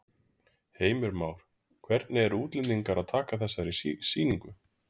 Heimir Már: Hvernig eru útlendingar að taka þessari sýningu?